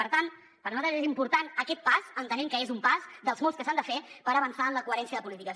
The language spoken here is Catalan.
per tant per nosaltres és important aquest pas entenent que és un pas dels molts que s’han de fer per avançar en la coherència de polítiques